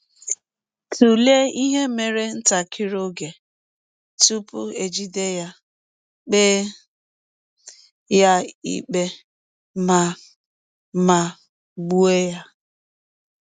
Tụlee ihe mere ntakịrị oge tụpụ e jide ya, kpee ya ikpe, ma, ma gbụọ ya.